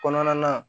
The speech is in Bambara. Kɔnɔna na